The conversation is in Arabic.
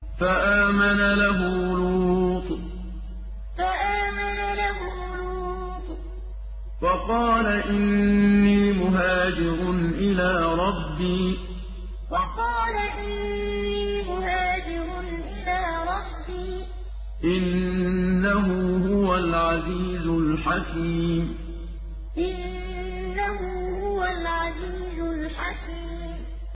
۞ فَآمَنَ لَهُ لُوطٌ ۘ وَقَالَ إِنِّي مُهَاجِرٌ إِلَىٰ رَبِّي ۖ إِنَّهُ هُوَ الْعَزِيزُ الْحَكِيمُ ۞ فَآمَنَ لَهُ لُوطٌ ۘ وَقَالَ إِنِّي مُهَاجِرٌ إِلَىٰ رَبِّي ۖ إِنَّهُ هُوَ الْعَزِيزُ الْحَكِيمُ